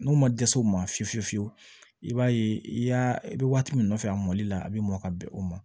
N'u ma dɛsɛ u ma fiyewu fiyewu i b'a ye i y'a i bɛ waati min nɔfɛ a mɔli la a bɛ mɔn ka bɛn o ma